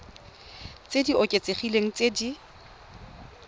tse di oketsegileng tse di